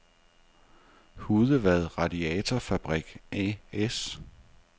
Hudevad Radiatorfabrik A/S